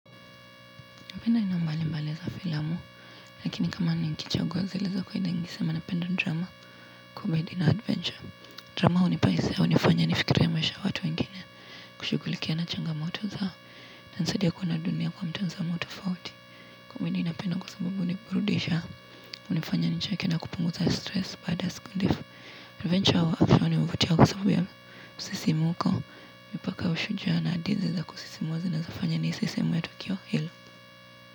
Napenda aina mbali mbali za filamu, lakini kama nikichagua zile za kwa hindi ngisi, napenda drama, kubahidi na adventure. Drama hunipesa, hunifanya nifikirie maisha ya watu wengine, kushughulikia na changamoto zao, na inanisaidia kuona dunia kwa mtazamo tofauti. Kumbahidi napenda kwa sababu huniburudisha, hunifanya nicheke na kupunguza stress baada ya siku ndefu, adventure hawa hunivutia kwa sababu ya msisimuko, mipaka ushujaa na hadithi za kusisimua zinaeza fanya nihisi sehemu ya tukio hilo.